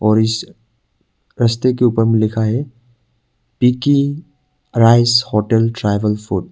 और इस रास्ते के ऊपर लिखा है पिकी राइस होटल ट्राइबल फूड ।